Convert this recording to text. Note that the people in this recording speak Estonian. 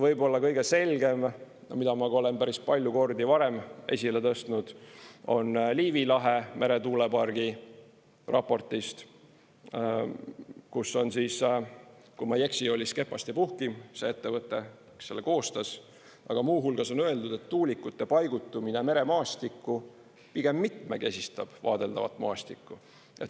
Võib-olla kõige selgem, mida ma olen ka päris palju kordi varem esile tõstnud, on Liivi lahe meretuulepargi raportist, kus on siis – kui ma ei eksi, oli Skepast & Puhkim see ettevõte, kes selle koostas – muu hulgas öeldud, et tuulikute paigutamine meremaastikku pigem mitmekesistab vaadeldavat maastikku.